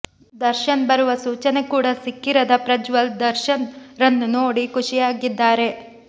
ದರ್ಶನ್ ಬರುವ ಸೂಚನೆ ಕೂಡ ಸಿಕ್ಕಿರದ ಪ್ರಜ್ವಲ್ ದರ್ಶನ್ ರನ್ನು ನೋಡಿ ಖುಷಿಯಾಗಿದ್ದಾರೆ